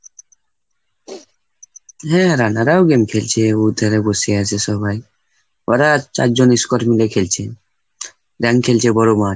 হ্যাঁ রানারাও game খেলছে. ওই ধারে বসে আছে সবাই। ওরা চারজন squad মিলে খেলছে, rank খেলছে বড় মাঠ।